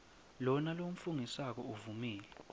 lona lofungisako uvumile